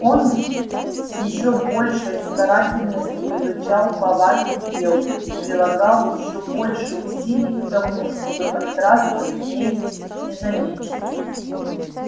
он с ещё большей старательностью изучал повадки белки и прилагал ещё больше усилий к тому чтобы подкрасться к ней незамеченным